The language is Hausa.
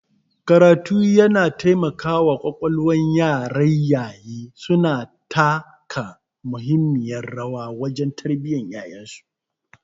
karatu yana taimakawa kwalkwalwar yaraIyaye suna taka muhimmiyar rawa wajen tarbiyyar yayansu